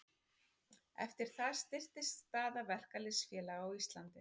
Eftir það styrktist staða verkalýðsfélaga á Íslandi.